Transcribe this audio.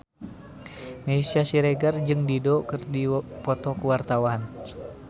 Meisya Siregar jeung Dido keur dipoto ku wartawan